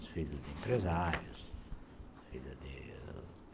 Os filhos de empresários, filhos de